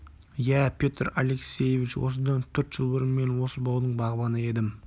иә петр алексеевич осыдан төрт жыл бұрын мен осы баудың бағбаны едім